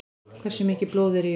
Hversu mikið blóð er í okkur?